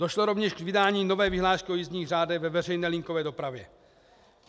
Došlo rovněž k vydání nové vyhlášky o jízdních řádech ve veřejné linkové dopravě.